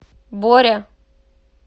боря